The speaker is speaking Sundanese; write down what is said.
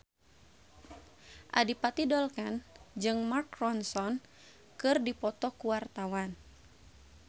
Adipati Dolken jeung Mark Ronson keur dipoto ku wartawan